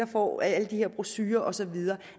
og alle de her brochurer og så videre